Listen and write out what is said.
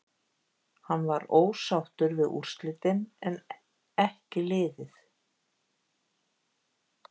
Hann var ósáttur við úrslitin en en ekki liðið.